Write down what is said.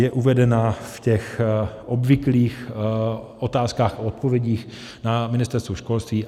Je uvedena v těch obvyklých otázkách a odpovědích na Ministerstvu školství.